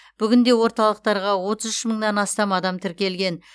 бүгінде орталықтарға отыз үш мыңнан астам адам тіркелген